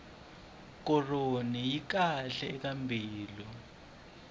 koroni yi kahle eka mbilu